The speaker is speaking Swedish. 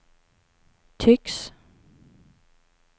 tycks